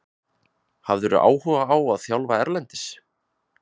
Hefðirðu áhuga á að þjálfa erlendis?